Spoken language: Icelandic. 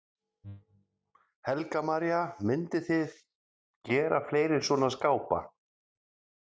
Helga María: Mynduð þið gera fleiri svona skápa?